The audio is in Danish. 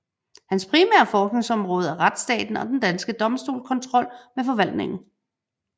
Hans primære forskningsområde er retsstaten og den danske domstolskontrol med forvaltningen